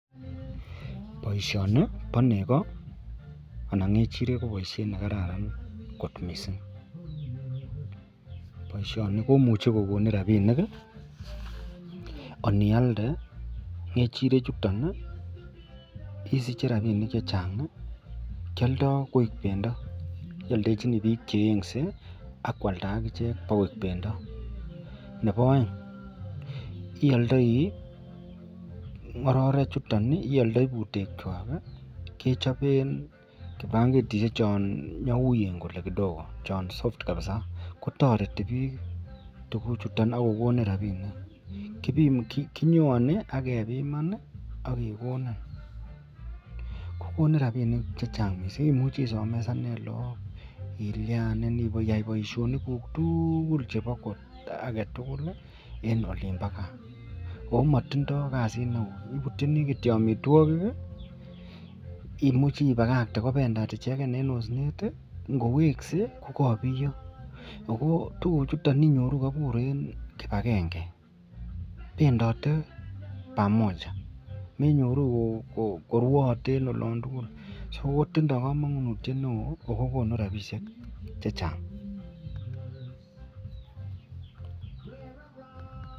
Baishoni ba nego anan ngechirek kokararan kot mising baishoni komuch kokonin rabishek onialde ngechirek chuton bisiche rabinik chechang kialdo koik bendo iyaldejlchini bik cheyenyeakwalda ichek koik bendo Nebo aeng iyaldae ngororek chuton ak butek chwak kechopen baketishek cha nyauyen kidogo kotareti bik chuton akenyoanbakebiman kokonin rabinik chechang mising ak isomeshanen lagok akiyai baishoniguk tugul chebo agetugul en olimbo gaa akomatindoi kasit neon kibutyinbkityo amitwagik imuche ibakate kobendat icheken en osnet akongowekse kokakobiyo akinyoru kobkabur en kibagenge bendate pamoja menyoru korwaate akotindoi kamanutiet neon akokonu rabishek chechang.